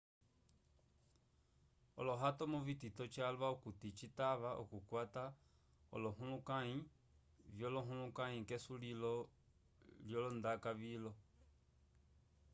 olohatomu vitito calwa okuti citava okukwata olohulukãyi vyolohulukãyi k'esulilo lyolondaka vilo